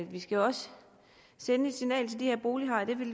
vi skal jo også sende det signal til de her bolighajer at det vil